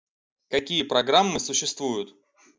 какие программы существуют